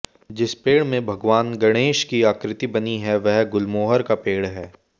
जिस पेड़ में भगवान गणेश की आकृति बनी है वह गुलमोहर का पेड़ है